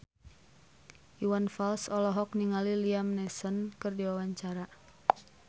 Iwan Fals olohok ningali Liam Neeson keur diwawancara